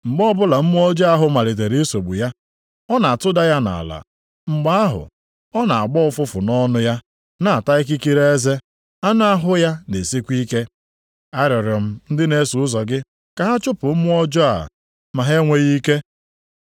Mgbe ọbụla mmụọ ọjọọ ahụ malitere isogbu ya, ọ na-atụda ya nʼala. Mgbe ahụ, ọ na-agbọ ụfụfụ nʼọnụ ya, na-ata ikikere eze, anụ ahụ ya na-esikwa ike. Arịọrọ m ndị na-eso ụzọ gị ka ha chụpụ mmụọ ọjọọ a, ma ha enweghị ike.”